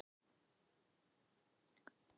Vefur saksóknara Alþingis